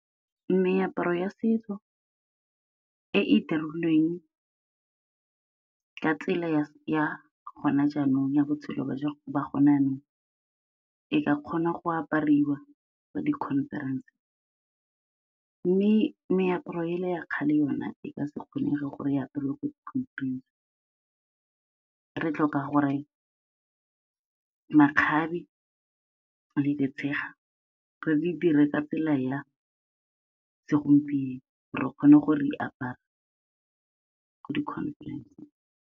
Meaparo ya setso e e dirilweng ka tsela ya gone jaanong ya botshelo ba gone jaanong, e ka kgona go apariwa ko di-conference-eng. Mme meaparo e le ya kgale yone, e ka se kgonege gore e apariwe ko di-conference-eng, re tlhoka gore makgabe le ditshega re di dire ka tsela ya segompieno, re kgone gore re di apare ko di-conference-eng.